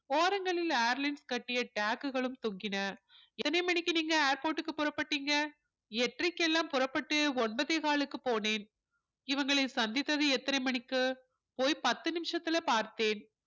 ஓரங்களில் airlines கட்டிய tag களும் தொங்கின எத்தனை மணிக்கு நீங்க airport க்கு புறப்பட்டீங்க எட்டறைக்கெல்லாம் புறப்பட்டு ஒன்பதேகாலுக்கு போனேன் இவங்களை சந்தித்தது எத்தனை மணிக்கு போய் பத்து நிமிஷத்துல பார்த்தேன்